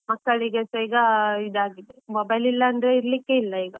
ಮಕ್ಕಳಿಗೆಸ ಈಗ ಇದಾಗಿದೆ, mobile ಇಲ್ಲ ಅಂದ್ರೆ ಇರ್ಲಿಕ್ಕೆ ಇಲ್ಲ ಈಗ.